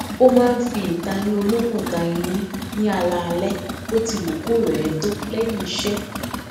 ó máa n fi ìtayín olókùn ta eyín ní alaalẹ bóti wù kó rẹ ẹ tó lẹyìn iṣẹ